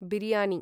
biryani